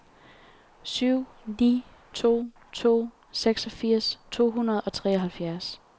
syv ni to to seksogfirs to hundrede og treoghalvfjerds